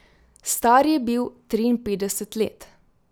Star je bil triinpetdeset let.